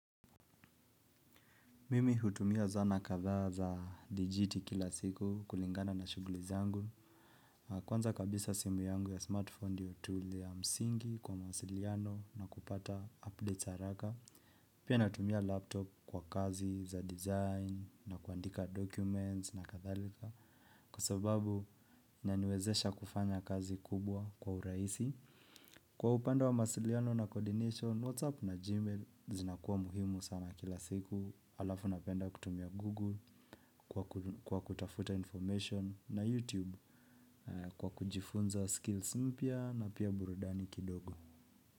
Mimi hutumia zana kadhaa za digiti kila siku kulingana na shughuli zangu. Kwanza kabisa simu yangu ya smartphone ndio tool ya msingi kwa masiliano na kupata updates haraka. Pia natumia laptop kwa kazi za design na kuandika documents na kadhalika. Kwasobabu inaniwezesha kufanya kazi kubwa kwa urahisi. Kwa upande wa masiliano na coordination, WhatsApp na Gmail zinakuwa muhimu sama kila siku. Alafu napenda kutumia Google kwa kutafuta information na YouTube kwa kujifunza skills mpya na pia burudani kidogo.